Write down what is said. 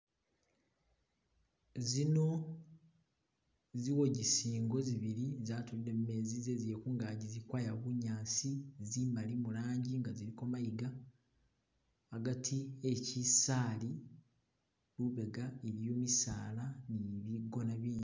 Zino ziwogisingo zibili zatulile mu mezi zezile kungaji zili kwaya bunyasi, zimali murangi nga ziliko mayiga agati e'kisali lubega iliyo misala ni bigona bindi